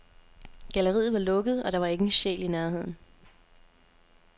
Galleriet var lukket, og der var ikke en sjæl i nærheden.